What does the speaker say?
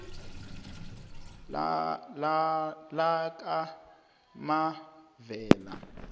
lakamavela